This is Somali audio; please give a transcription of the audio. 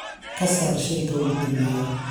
ka saar shayga ugu dambeeya